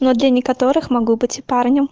но для некоторых могу быть и парнем